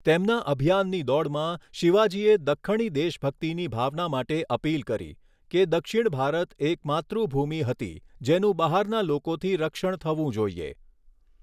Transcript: તેમના અભિયાનની દોડમાં, શિવાજીએ દખ્ખણી દેશભક્તિની ભાવના માટે અપીલ કરી, કે દક્ષિણ ભારત એક માતૃભૂમિ હતી જેનું બહારના લોકોથી રક્ષણ થવું જોઈએ.